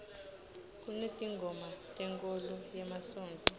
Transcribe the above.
kunetingoma tenkholo yemasontfo